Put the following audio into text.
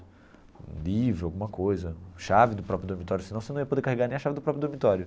Um livro, alguma coisa, chave do próprio dormitório, senão você não ia poder carregar nem a chave do próprio dormitório.